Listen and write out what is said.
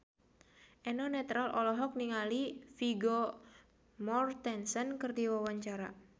Eno Netral olohok ningali Vigo Mortensen keur diwawancara